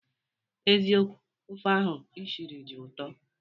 Eziokwu, ofe ahụ ishiri dị ụtọ